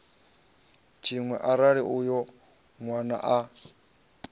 tshiṅwe arali uyo nwana a